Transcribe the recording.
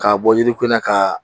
K'a bɔ yiri ko na ka